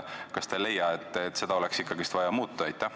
Kas te ei leia, et seda oleks ikkagi vaja muuta?